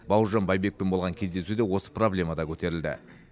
бауыржан байбекпен болған кездесуде осы проблема да көтерілді